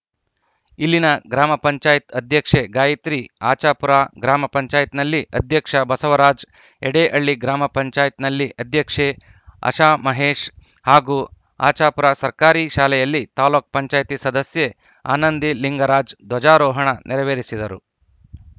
ಇಲ್ಲಿನ ಗ್ರಾಮ ಪಂಚಾಯತ್ ಅಧ್ಯಕ್ಷೆ ಗಾಯಿತ್ರಿ ಆಚಾಪುರ ಗ್ರಾಮ ಪಂಚಾಯತ್ ನಲ್ಲಿ ಅಧ್ಯಕ್ಷ ಬಸವರಾಜ್‌ ಯಡೇಹಳ್ಳಿ ಗ್ರಾಪಂನಲ್ಲಿ ಅಧ್ಯಕ್ಷೆ ಅಶಾಮಹೇಶ್‌ ಹಾಗೂ ಆಚಾಪುರ ಸರ್ಕಾರಿ ಶಾಲೆಯಲ್ಲಿ ತಾಲೂಕ್ ಪಂಚಾಯತ್ ಸದಸ್ಯೆ ಆನಂದಿಲಿಂಗರಾಜ್‌ ಧ್ವಜಾರೋಹಣ ನೆರವೆರಿಸಿದರು